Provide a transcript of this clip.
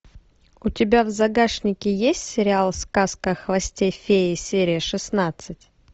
у тебя в загашнике есть сериал сказка о хвосте феи серия шестнадцать